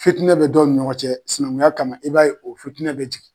Fitinɛ bɛ dɔw ni ɲɔgɔncɛ sinankunya kama i b'a ye o fitinɛ bɛ jigin.